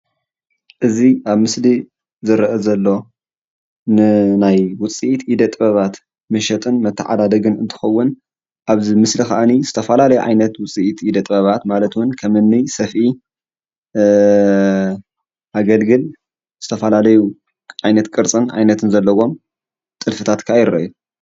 እዚ ኣብ ምስሊ ዝርአ ዘሎ ንናይ ዉፅኢት ኢደ ጥበባት መሸጥን መተዓዳደግን እንትኸዉን ኣብዚ ምስሊ ክዓኒ ዝተፈላለዩ ዓየነት ዉፅኢት ኢደ ጥበባት ማለት እዉን ከምኒ ሰፍኢ፣ አገልግል ዝተፈላለዩ ዓይነት ቅርፅን ዓይነትን ዘለዎም ጥልፍታት ክዓ ይርኣዩ::